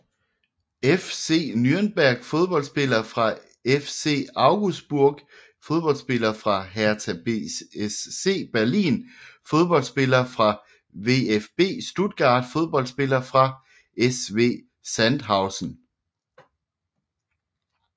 FC Nürnberg Fodboldspillere fra FC Augsburg Fodboldspillere fra Hertha BSC Berlin Fodboldspillere fra VfB Stuttgart Fodboldspillere fra SV Sandhausen